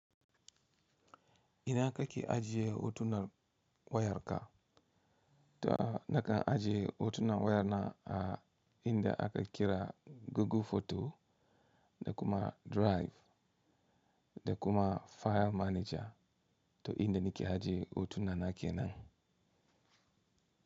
Ina ka ki ajiye hotunan wayarka? To na kan ajiye hotunan wayana a inda aka kira Google Photo da kuma Drive da kuma File Manager to inda nake ajiye hotunan na ke nan.